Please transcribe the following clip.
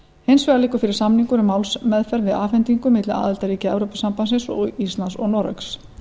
hins vegar liggur fyrir samningur um málsmeðferð við afhendingu milli aðildarríkja evrópusambandsins og íslands og noregs